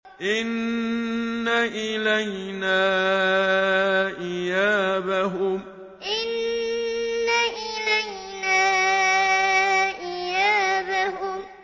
إِنَّ إِلَيْنَا إِيَابَهُمْ إِنَّ إِلَيْنَا إِيَابَهُمْ